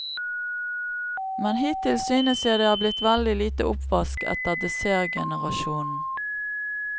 Men hittil synes jeg det er blitt veldig lite oppvask etter dessertgenerasjonen.